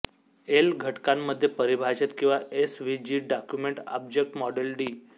L घटकांमध्ये परिभाषित किंवा S V G document object model D